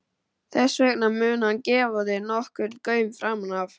Þess vegna mun hann gefa þér nokkurn gaum framan af.